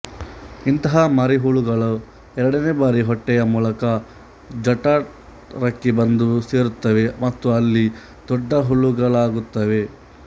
ಇಂತಹ ಮರಿಹುಳುಗಳು ಎರಡನೇ ಬಾರಿ ಹೊಟ್ಟೆಯ ಮೂಲಕ ಜಠರಕ್ಕೆ ಬಂದುಸೇರುತ್ತವೆ ಮತ್ತು ಅಲ್ಲಿ ದೊಡ್ಡ ಹುಳುಗಳಾಗುತ್ತವೆ